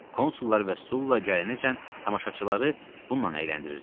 Konsullar və Sulla gələnəcən tamaşaçıları bununla əyləndirirdilər.